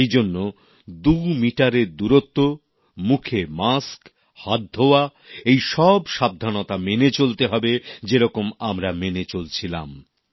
সেইজন্য 2 গজ দূরত্ব মুখে মাস্ক হাত ধোওয়া এইসব সাবধানতা মেনে চলতে হবে যেরকম আমরা মেনে চলছিলাম